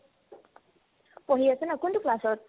পঢ়ি আছে ন কোনতো class ত ?